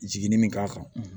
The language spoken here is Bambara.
Jiginin min k'a kan